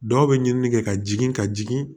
Dɔw bɛ ɲinini kɛ ka jigin ka jigin